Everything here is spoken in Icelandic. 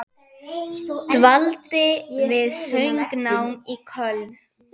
Dvaldi við söngnám í Köln.